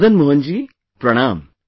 Madan Mohan ji, Pranam